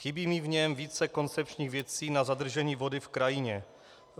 Chybí mi v něm více koncepčních věcí na zadržení vody v krajině.